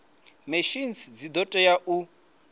machines dzi do tea u